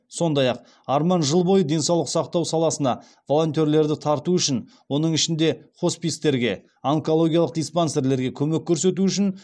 сондай ақ арман жыл бойы денсаулық сақтау саласына волонтерлерді тарту үшін оның ішінде хоспистерге онкологиялық диспансерлерге көмек көрсету үшін